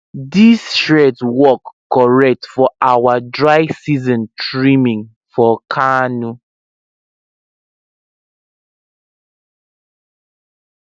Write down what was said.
this shears work correct for our dry season trimming for kano